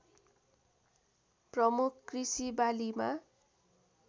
प्रमुख कृषि बालीमा